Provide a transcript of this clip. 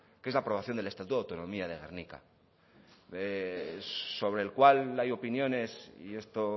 que es la promoción del estatuto de autonomía de gernika sobre el cual hay opiniones y esto